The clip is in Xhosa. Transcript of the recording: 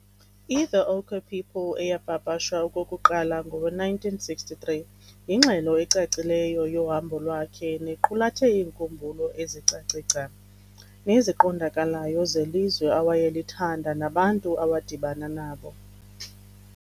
I-'The Ochre People' eyapapashwa okokuqala ngowe-1963 yingxelo ecacileyo yohambo lwakhe nequlathe iinkumbulo ezicace gca neziqondakalayo zelizwe awayelithanda nabantu awadibana nabo.